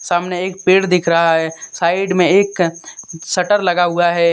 सामने एक पेड़ दिख रहा है साइड में एक शटर लगा हुआ है।